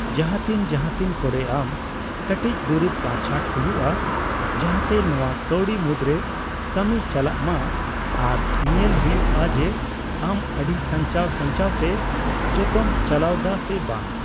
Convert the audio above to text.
ᱡᱟᱦᱟᱛᱤᱱ ᱡᱟᱦᱟᱛᱤᱱ ᱠᱚᱨᱮ ᱟᱢ ᱠᱟᱹᱴᱤᱪ ᱫᱩᱨᱤᱵ ᱠᱟᱸᱴᱪᱷᱟᱴ ᱦᱩᱭᱩᱜᱼᱟ ᱡᱟᱦᱟᱛᱮ ᱱᱚᱣᱟ ᱠᱟᱹᱣᱰᱤ ᱢᱩᱫᱽᱨᱮ ᱠᱟᱹᱢᱤ ᱪᱟᱞᱟᱜ ᱢᱟ ᱟᱨ ᱧᱮᱞ ᱦᱩᱭᱩᱜᱼᱟ ᱡᱮ ᱟᱢ ᱟᱹᱰᱤ ᱥᱟᱧᱪᱟᱣ ᱥᱟᱧᱪᱟᱣᱛᱮ ᱡᱚᱛᱚᱢ ᱪᱟᱞᱟᱣ ᱫᱟ ᱥᱮ ᱵᱟᱝ ᱾